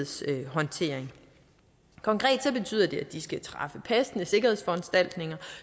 sikkerhedshåndtering konkret betyder det at de skal træffe passende sikkerhedsforanstaltninger